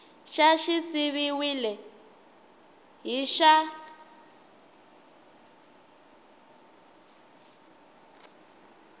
xa xi siviwile hi xa